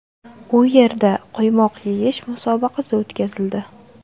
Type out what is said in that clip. U yerda quymoq yeyish musobaqasi o‘tkazildi.